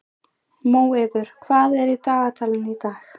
Móeiður, hvað er í dagatalinu í dag?